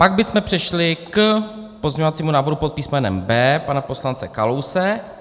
Pak bychom přešli k pozměňovacímu návrhu pod písmenem B pana poslance Kalouse.